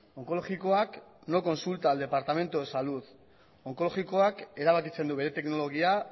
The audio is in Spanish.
onkologikoak no consulta al departamento de salud onkologikoak erabakitzen du bere teknologia